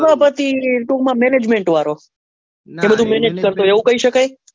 સભાપતિ ટૂંક મા managemnet વાળો એ બધું manage કરતો હોય એવું કહી સકાય.